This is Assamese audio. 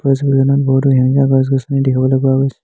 এই ছবিখনত বহুতো সেউজীয়া গছ গছনি দেখিবলৈ পোৱা গৈছে।